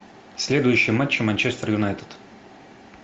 следующий матч манчестер юнайтед